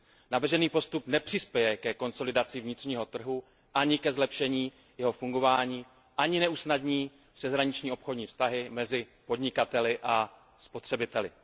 Navržený postup nepřispěje ke konsolidaci vnitřního trhu ani ke zlepšení jeho fungování, ani neusnadní přeshraniční obchodní vztahy mezi podnikateli a spotřebiteli.